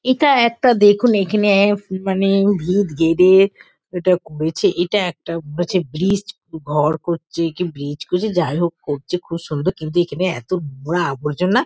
এটা একটা দেখুন এখানে এক মানে ভীত গেদে এটা করেছে। এটা একটা মনে হচ্ছে ব্রিজ ঘর করছে কি ব্রিজ করছে? যাই হোক করছে। খুব সুন্দর কিন্তু এখানে এতো নোংরা আবর্জনা --